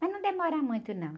Mas não demora muito, não.